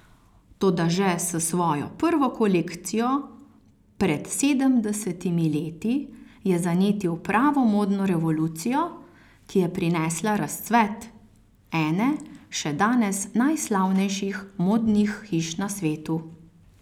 Toda že s svojo prvo kolekcijo pred sedemdesetimi leti je zanetil pravo modno revolucijo, ki je prinesla razcvet ene še danes najslavnejših modnih hiš na svetu.